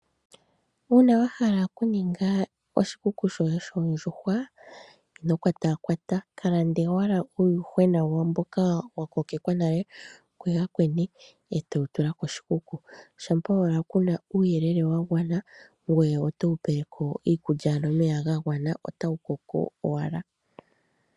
Uuna wa hala okuninga oshikuku shoye shoondjuhwa ino kwatakwata ka lande owala uuyuhwena woye mboka wa kokekwa nale kuyakweni e to wu tula koshikuku kehe wala ku na uuyelele wa gwana ngoye otowu peleko omeya niikulya ya gwana otawu kokeleko ashike.